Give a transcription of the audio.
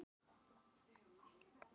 eða koma þau af sama grunni